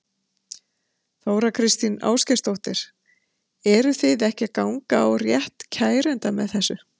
Þóra Kristín Ásgeirsdóttir: Eru þið ekki að ganga á rétt kærenda með þessu?